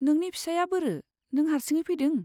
नोंनि फिसाइआ बोरो, नों हारसिङै फैदों?